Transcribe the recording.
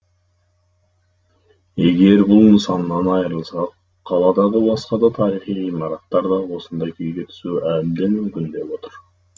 егер бұл нысаннан айырылсақ қаладағы басқа да тарихи ғимараттар да осындай күйге түсуі әбден мүмкін деп отыр